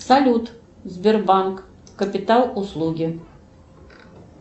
салют сбербанк капитал услуги